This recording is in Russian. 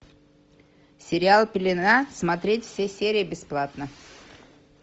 сериал пелена смотреть все серии бесплатно